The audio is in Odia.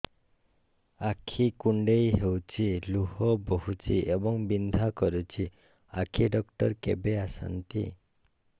ଆଖି କୁଣ୍ଡେଇ ହେଉଛି ଲୁହ ବହୁଛି ଏବଂ ବିନ୍ଧା କରୁଛି ଆଖି ଡକ୍ଟର କେବେ ଆସନ୍ତି